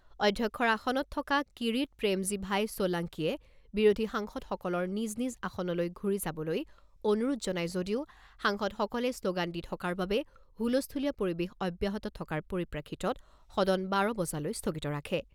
অধ্যক্ষৰ আসনত থকা কিৰিট প্ৰেমজিভাই ছোলাংকিয়ে বিৰোধী সাংসদসকলৰ নিজ নিজ আসনলৈ ঘূৰি যাবলৈ অনুৰোধ জনাই যদিও সাংসদসকলে শ্ল'গান দি থকাৰ বাবে হুলস্থূলীয়া পৰিবেশ অব্যাহত থকাৰ পৰিপ্ৰেক্ষিতত সদন বাৰ বজালৈ স্থগিত ৰাখে।